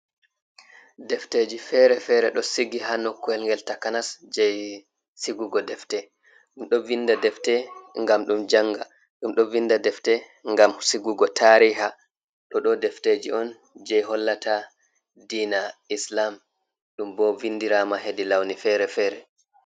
Defteji fere-fere ɗo sigi ha nokkuwel ngel takanas jei sigugo defte, ɗum ɗo vinda defte ngam ɗum janga, ɗum ɗo vinda defte ngam sigugo tariha, ɗo ɗo defteji on je hollata diina islam ɗum bo vindirama hedi launi fere-fere.